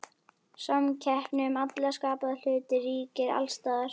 Samkeppni um alla skapaða hluti ríkir alls staðar.